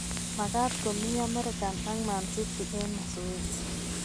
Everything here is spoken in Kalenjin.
Makaat komii amerika ak man city eng mazoezi